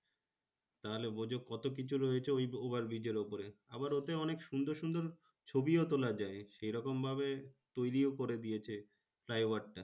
তাহলে বোঝো কত কিছু রয়েছে ওই overbridge এর উপরে? আবার ওতে অনেক সুন্দর সুন্দর ছবিও তোলা যায় সেইরকমভাবে তৈরিও করে দিয়েছে flyover টা।